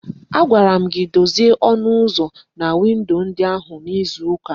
Agwara m gị dozie ọnụ ụzọ na windo ndị ahụ n'izu ụka a!